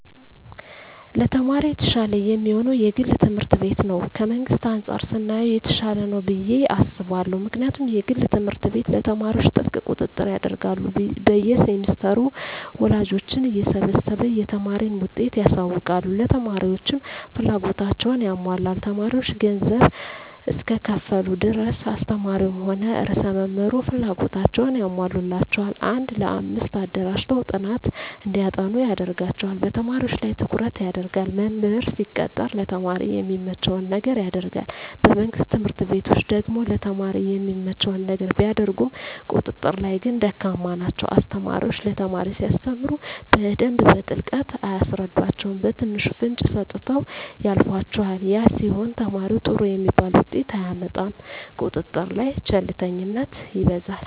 ለተማሪ የተሻለ የሚሆነዉ የግል ትምህርት ቤት ነዉ ከመንግስት አንፃር ስናየዉ የተሻለ ነዉ ብየ አስባለሁ ምክንያቱም የግል ትምህርት ቤት ለተማሪዎች ጥብቅ ቁጥጥር ያደርጋሉ በየ ሴምስተሩ ወላጆችን እየሰበሰቡ የተማሪን ዉጤት ያሳዉቃሉ ለተማሪዎችም ፍላጎታቸዉን ያሟላሉ ተማሪዎች ገንዘብ እስከከፈሉ ድረስ አስተማሪዉም ሆነ ርዕሰ መምህሩ ፍላጎታቸዉን ያሟሉላቸዋል አንድ ለአምስት አደራጅተዉ ጥናት እንዲያጠኑ ያደርጓቸዋል በተማሪዎች ላይ ትኩረት ይደረጋል መምህር ሲቀጠር ለተማሪ የሚመቸዉን ነገር ያደርጋል በመንግስት ትምህርት ቤቶች ደግሞ ለተማሪ የሚመቸዉን ነገር ቢያደርጉም ቁጥጥር ላይ ግን ደካማ ናቸዉ አስተማሪዎች ለተማሪ ሲያስተምሩ በደንብ በጥልቀት አያስረዷቸዉም በትንሹ ፍንጭ ሰጥተዉ ያልፏቸዋል ያ ሲሆን ተማሪዉ ጥሩ የሚባል ዉጤት አያመጣም ቁጥጥር ላይ ቸልተኝነት ይበዛል